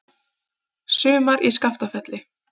Sumar í Skaftafelli.